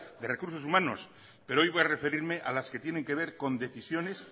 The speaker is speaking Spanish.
de recursos humanos pero hoy voy a referirme a las que tienen que ver con decisiones